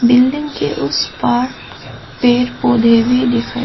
building के उस पार पेड़ पौधे भी दिखाएं--